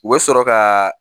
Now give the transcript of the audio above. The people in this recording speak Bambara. U bɛ sɔrɔ ka